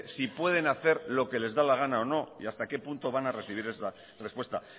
si pueden hacer lo que les da la gana o no y hasta qué punto van a recibir la respuesta